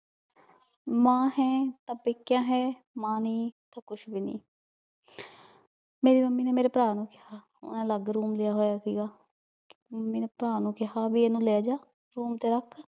ਮਾਂ ਹੈ ਤਾਂ ਪੀਕਾ ਹੈ ਮਾਂ ਨਹੀ ਤਾਂ ਕੁਸ਼ ਵੀ ਨਹੀ ਮੇਰੀ ਮੱਮੀ ਨੇ ਮੇਵਰੇ ਪਰਾ ਨੂ ਕੇਹਾ ਓਹਨੇ ਅਲਗ room ਲਿਆ ਹੋਇਆ ਸੀਗਾ ਮੱਮੀ ਨੇ ਪਰਾ ਨੂ ਕੇਹਾ ਏਨੂੰ ਲੇ ਜਾ room ਤੇ ਰਖ